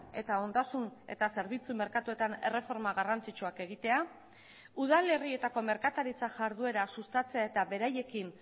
eta ondasun eta zerbitzu merkatuetan erreforma garrantzitsuak egitea udalerrietako merkataritza jarduera sustatzea eta beraiekin